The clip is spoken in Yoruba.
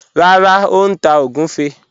Rárá, ó n tá ogunfẹ́